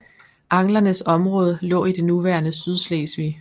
Anglernes område lå i det nuværende Sydslesvig